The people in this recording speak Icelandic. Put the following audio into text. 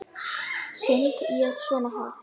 Söng ég svona hátt?